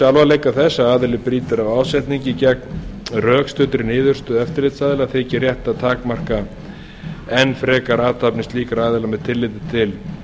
alvarleika þess að aðili brýtur af ásetningi gegn rökstuddri niðurstöðu eftirlitsaðila þykir rétt að takmarka enn frekar athafnir slíkra aðila með tilliti til